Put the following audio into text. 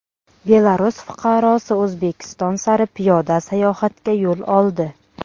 Belarus fuqarosi O‘zbekiston sari piyoda sayohatga yo‘l oldi.